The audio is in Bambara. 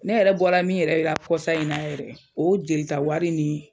Ne yɛrɛ bɔra min yɛrɛ la kɔsa in na yɛrɛ o jelita wari ni